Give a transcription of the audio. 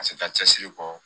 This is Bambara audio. Ka se ka cɛsiri kɔ